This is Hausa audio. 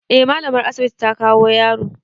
Eh mallamar asibiti ta kawo yaro.